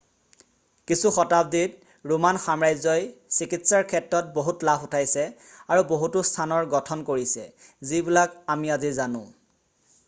কিছু শতাব্দীত ৰোমান সাম্ৰাজ্যই চিকিৎসাৰ ক্ষেত্ৰত বহুত লাভ উঠাইছে আৰু বহুতো স্থানৰ গঠন কৰিছে যিবিলাক আমি আজি জানো